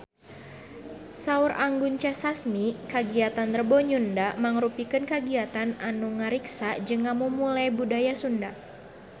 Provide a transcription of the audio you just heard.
Saur Anggun C. Sasmi kagiatan Rebo Nyunda mangrupikeun kagiatan anu ngariksa jeung ngamumule budaya Sunda